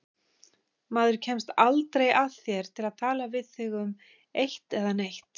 Maður kemst aldrei að þér til að tala við þig um eitt né neitt.